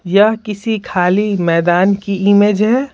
यह किसी खाली मैदान की इमेज है।